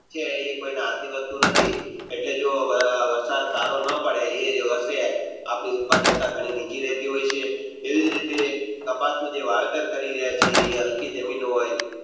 છે એ કોયના હાથ ની વસ્તુ નથી એટલે જો વરસાદ સારો ન પડે આપણી ઉત્પાદકતા ઘણી નીચી રહેતી હોય છે એવી જ રીતે કપાસ નિયુ જે વાવેતર કર્યું એ હલકી જમીનો વળી